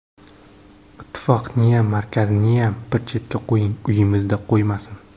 Ittifoqniyam, markaziniyam bir chetga qo‘ying, uyimizdan qo‘ymasin.